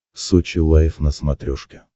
сочи лайф на смотрешке